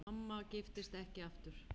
Mamma giftist ekki aftur.